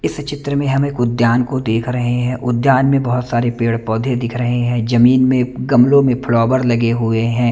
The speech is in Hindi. इस चित्र में हम एक उद्यान को देख रहे हैं उद्यान में बहोत सारे पेड़ पोधे दिख रहे हैं जमीन में गमलो में फ्लॉवर लगे हुए हैं।